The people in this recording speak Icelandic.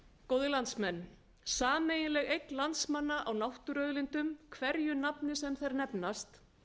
góðir landsmenn sameiginleg eign landsmanna á náttúruauðlindum hverju nafni sem þær nefnast